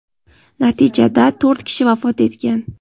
Natijada, to‘rt kishi vafot etgan.